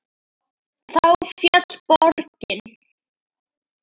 Þá féll borgin.